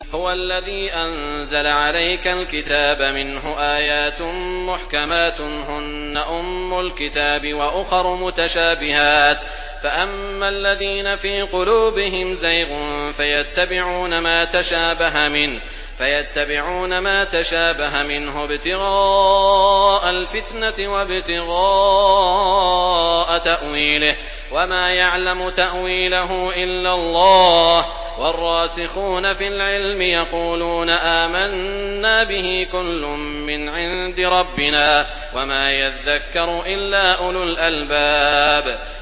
هُوَ الَّذِي أَنزَلَ عَلَيْكَ الْكِتَابَ مِنْهُ آيَاتٌ مُّحْكَمَاتٌ هُنَّ أُمُّ الْكِتَابِ وَأُخَرُ مُتَشَابِهَاتٌ ۖ فَأَمَّا الَّذِينَ فِي قُلُوبِهِمْ زَيْغٌ فَيَتَّبِعُونَ مَا تَشَابَهَ مِنْهُ ابْتِغَاءَ الْفِتْنَةِ وَابْتِغَاءَ تَأْوِيلِهِ ۗ وَمَا يَعْلَمُ تَأْوِيلَهُ إِلَّا اللَّهُ ۗ وَالرَّاسِخُونَ فِي الْعِلْمِ يَقُولُونَ آمَنَّا بِهِ كُلٌّ مِّنْ عِندِ رَبِّنَا ۗ وَمَا يَذَّكَّرُ إِلَّا أُولُو الْأَلْبَابِ